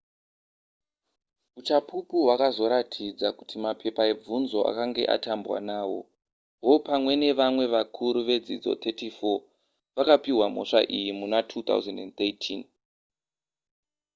uchapupu hwakazoratidza kuti mapepa ebvunzo akange atambwa nawo hall pamwe nevamwe vakuru vedzidzo 34 vakapihwa mhosva iyi muna2013